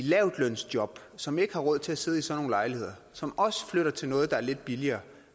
lavtlønsjob som ikke har råd til at sidde i sådan nogle lejligheder som også flytter til noget der er lidt billigere